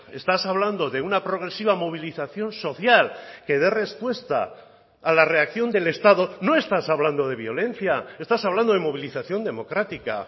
estás hablando de una progresiva movilización social que dé respuesta a la reacción del estado no estás hablando de violencia estás hablando de movilización democrática